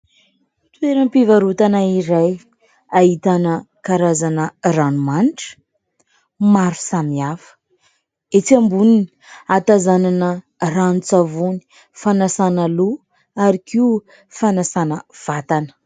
Toeram-pivarotana iray ahitana karazana ranomanitra maro samihafa. Etsy amboniny hahatazanana ranon-tsavony fanasana loha ary koa fanasana vatana.